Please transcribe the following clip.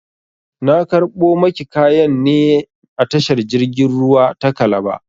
Na karɓo maki kayan ne a tashar jirgin ruwa ta kalaba